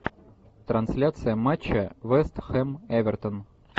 трансляция матча вест хэм эвертон